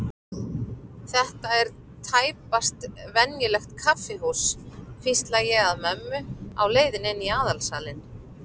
Þetta er tæpast venjulegt kaffihús, hvísla ég að mömmu á leiðinni inn í aðalsalinn.